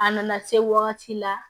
A nana se wagati la